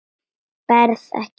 Berð ekki.